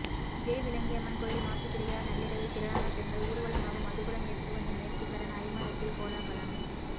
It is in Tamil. ஜெயவிளங்கியம்மன் கோயில் மாசி திருவிழா நள்ளிரவில் திரளான பெண்கள் ஊர்வலமாக மதுக்குடம் எடுத்து வந்து நேர்த்தி கடன் அரிமளத்தில் கோலாகலம்